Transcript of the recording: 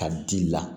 Ka di i la